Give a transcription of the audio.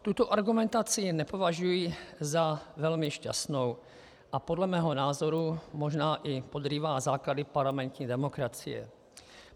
Tuto argumentaci nepovažuji za velmi šťastnou, a podle mého názoru možná i podrývá základy parlamentní demokracie.